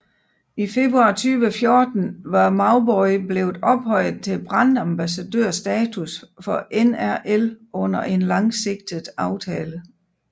I februar 2014 var Mauboy blevet ophøjet til brandambassadørstatus for NRL under en langsigtet aftale